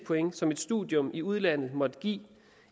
point som et studium i udlandet måtte give